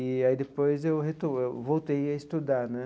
E aí depois eu reto eu voltei a estudar né.